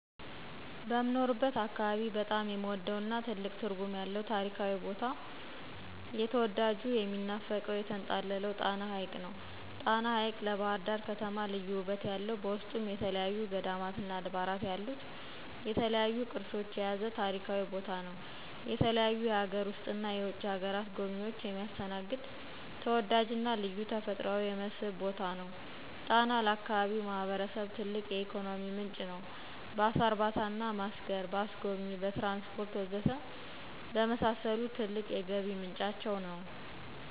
በምኖርበት አካባቢ በጣም የምወደውና ትልቅ ትርጉም ያለው ታሪካዊ ቦታ የተዳጁ፣ የሚናፈቀው፣ የተንጣለለው ጣና ሐቅ ነው። ጣና ሐቅ ለባህርዳር ከተማ ልዩ ውበት ያለው በውስጡ የተለያዩ ገዳማትና አድባራት ያሉት፣ የተለያዩ ቅርሶች የያዘ ታሪካዊ ቦታ ነው። የተለያዩ የሀገር ውስጥና የውጭ ሀገር ጎብኝችን የሚያስተናግድ ተወዳጅና ልዩ ተፈጥሯዊ የመስህብ ቦታ ነው። ጣና ለአካባቢው ማህበረሰብ ትልቅ የኢኮኖሚ ምንጭ ነው። በአሳ እርባታና ማስገር፣ በአስጎብኚ፣ በትራንስፖርት ወዘተ በመሳሰሉት ትልቅ የገቢ ምንጫቸው ነው።